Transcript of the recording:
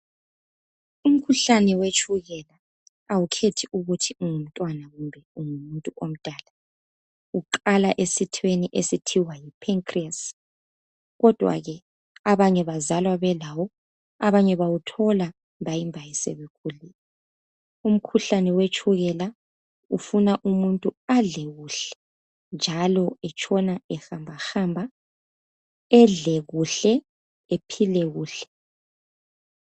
Umkhuhlane awukhethi ukuthi ungumntwana kumbe ungumuntu omdala , iqala esithweni esithiwa Yi pancreas , kodwa ke abanye bazalwa belawo , abanye bawuthola mbayimbayi sebekhulile , umkhuhlane wetshukela ufuna umuntu adle kuhle njalo etshona ehambahamba edle kuhle ephile kuhle